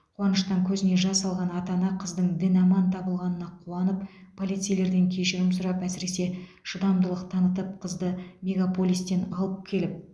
қуаныштан көзіне жас алған ата ана қыздың дін аман табылғанына қуанып полицейлерден кешірім сұрап әсіресе шыдамдылық танытып қызды мегаполистен алып келіп